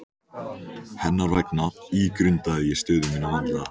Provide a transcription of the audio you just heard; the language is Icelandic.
Hennar vegna ígrundaði ég stöðu mína vandlega.